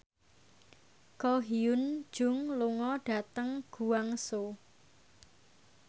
Ko Hyun Jung lunga dhateng Guangzhou